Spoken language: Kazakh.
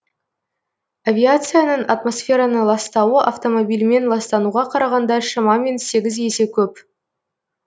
авиацияның атмосфераны ластауы автомобильмен ластануға қарағанда шамамен сегіз есе көп